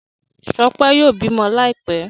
Shope yóò bímọ Láìpé.